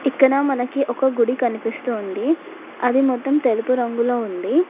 ఇక్కడ మనకి ఒక గుడి కనిపిస్తోంది అది మొత్తం తెలుపు రంగులో ఉంది.